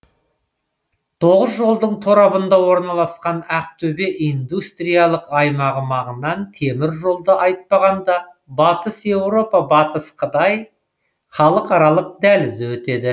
тоғыз жолдың торабында орналасқан ақтөбе индустриялық аймағы маңынан темір жолды айтпағанда батыс еуропа батыс қытай халықаралық дәлізі өтеді